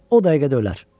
O dəqiqə də ölər.